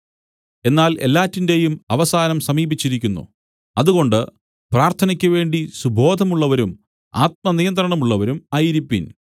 എന്നാൽ എല്ലാറ്റിന്റേയും അവസാനം സമീപിച്ചിരിക്കുന്നു അതുകൊണ്ട് പ്രാർത്ഥനയ്ക്കുവേണ്ടി സുബോധമുള്ളവരും ആത്മനിയന്ത്രണമുള്ളവരും ആയിരിപ്പിൻ